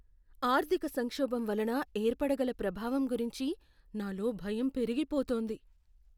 ఆర్థిక సంక్షోభం వలన ఏర్పడగల ప్రభావం గురించి నాలో భయం పెరిగిపోతోంది.